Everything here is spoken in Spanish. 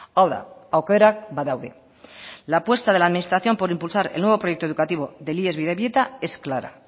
hau da aukerak badaude la apuesta de la administración por impulsar el nuevo proyecto educativo del ies bidebieta es clara